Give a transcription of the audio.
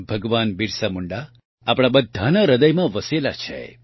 ભગવાન બિરસા મુંડા આપણા બધાના હૃદયમાં વસેલા છે